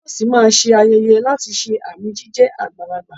Toyosi máa ṣe ayẹyẹ láti ṣe àmì jíjẹ́ àgbàlagbà.